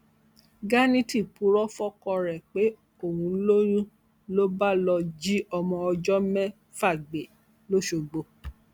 ganiti puro fọkọ ẹ pé òun lóyún ló bá lọọ jí ọmọ ọjọ mẹfà gbé lọsọgbọ